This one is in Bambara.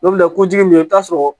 N'o bɛ kɛ kojugu min i bɛ taa sɔrɔ